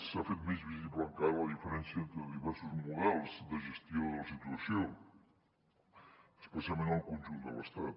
s’ha fet més visible encara la diferència entre diversos models de gestió de la situació especialment en el conjunt de l’estat